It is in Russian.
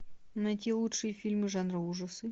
найти лучшие фильмы жанра ужасы